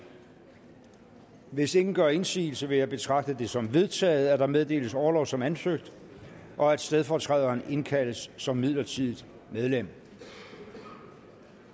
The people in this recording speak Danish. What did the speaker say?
hvis ingen gør indsigelse vil jeg betragte det som vedtaget at der meddeles orlov som ansøgt og at stedfortræderen indkaldes som midlertidigt medlem